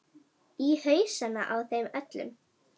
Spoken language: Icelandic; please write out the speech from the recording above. Í hausana á þeim öllum.